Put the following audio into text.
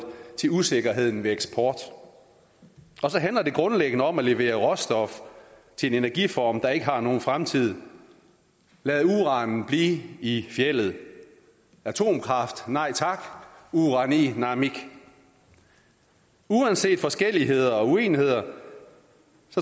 til usikkerheden ved eksport og så handler det grundlæggende om at levere råstof til en energiform der ikke har nogen fremtid lad uranen blive i fjeldet atomkraft nej tak urani naamik uanset forskelligheder og uenigheder